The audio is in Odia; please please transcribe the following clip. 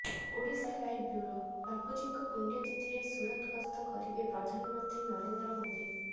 ଓଡ଼ିଶାଲାଇଭ୍ ବ୍ୟୁରୋ ବାପୁଜୀଙ୍କ ପୁଣ୍ୟତିଥରେ ସୁରତ ଗସ୍ତ କରିବେ ପ୍ରଧାନମନ୍ତ୍ରୀ ନରେନ୍ଦ୍ର ମୋଦି